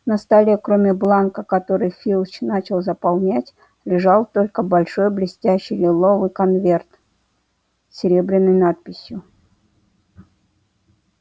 на столе кроме бланка который филч начал заполнять лежал только большой блестящий лиловый конверт с серебряной надписью